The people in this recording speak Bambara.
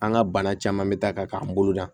An ka bana caman bɛ taa ka k'an bolo da